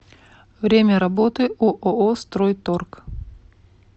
время работы ооо стройторг